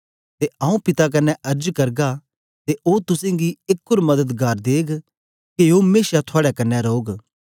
ते आऊँ पिता कन्ने अर्ज करगा ते ओ तुसेंगी एक ओर मददगार देग के ओ मेशा थुआड़े कन्ने रौग